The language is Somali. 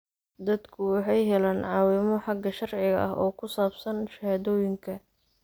Dadku waxay helaan caawimo xagga sharciga ah oo ku saabsan shahaadooyinka.